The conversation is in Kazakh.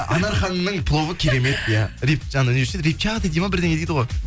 анар ханымның пловы керемет иә не деуші еді репчатый дейді ма бірдеңе дейді ғой